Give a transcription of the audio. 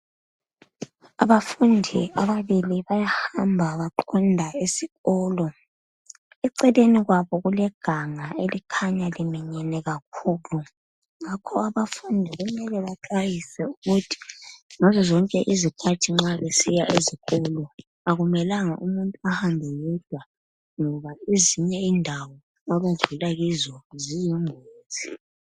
Abafundi ababili bayahamba baqonda esikolo eceleni kwabo kuleganga elikhanya liminyene kakhulu ngakho abufundi kumele baxwayiswe ukuthi ngazo zonked isikhathi nxa besiya esikolo akumelanga umuntu ahambe yedwa ngoba ezinye indawo abahamba kuzo ziyingozi.